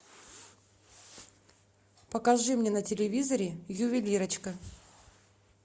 покажи мне на телевизоре ювелирочка